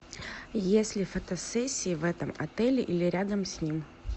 есть ли фотосессии в этом отеле или рядом с ним